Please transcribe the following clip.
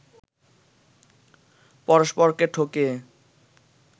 পরস্পরকে ঠকিয়ে